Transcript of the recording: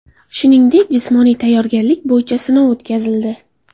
Shuningdek, jismoniy tayyorgarlik bo‘yicha sinov o‘tkazildi.